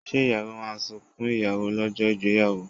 Ṣé ìyàwó máa sunkún ìyàwó lọ́jọ́ ìgbéyàwó?